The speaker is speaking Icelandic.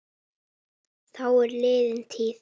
Það er liðin tíð.